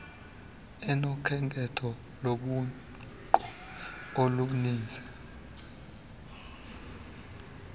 unokhetho lobuqu oluninzi